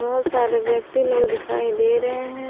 बहुत सारे व्यक्ति लोग दिखाई दे रहे हैं।